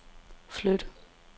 flyt